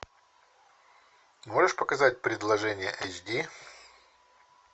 можешь показать предложение эйч ди